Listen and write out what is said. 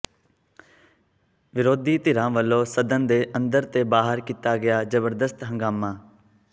ਵਿਰੋਧੀ ਧਿਰਾਂ ਵੱਲੋਂ ਸਦਨ ਦੇ ਅੰਦਰ ਤੇ ਬਾਹਰ ਕੀਤਾ ਗਿਆ ਜ਼ਬਰਦਸਤ ਹੰਗਾਮਾ